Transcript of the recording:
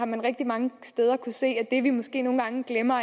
man rigtig mange steder se at vi måske nogle gange glemmer